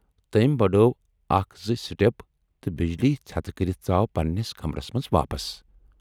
تمٔۍ بڈٲو اکھ زٕ سِٹپ تہٕ بجلی ژھٮ۪تہِ کٔرِتھ ژاو پنہٕ نِس کمرس منز واپس۔